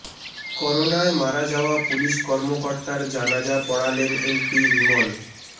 করোনায় মারা যাওয়া পুলিশ কর্মকর্তার জানাজা পড়ালেন এমপি রিমন